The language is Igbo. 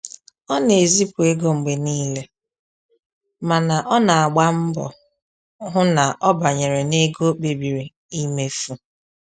Ọ na-ezipụ ego mgbe niile mana ọ na agba mgbọ hụ na ọ banyere na ego o kpebiri imefu